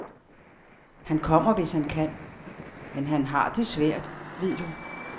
Han kommer, hvis han kan, men han har det svært, ved du.